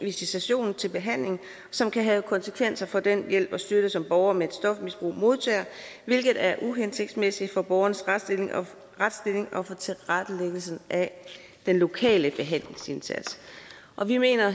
visitation til behandling som kan have konsekvenser for den hjælp og støtte som borgere med et stofmisbrug modtager hvilket er uhensigtsmæssigt for borgernes retsstilling og for tilrettelæggelsen af den lokale behandlingsindsats og vi mener